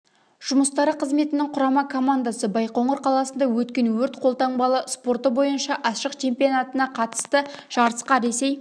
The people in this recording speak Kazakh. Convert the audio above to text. жұмыстары қызметінің құрама командасы байқоңыр қаласында өткен өрт-қолтанбалы спорты бойынша ашық чемпионатына қатысты жарысқа ресей